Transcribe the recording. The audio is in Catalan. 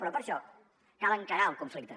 però per a això cal encarar el conflicte